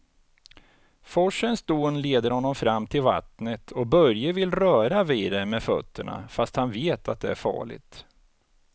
Forsens dån leder honom fram till vattnet och Börje vill röra vid det med fötterna, fast han vet att det är farligt.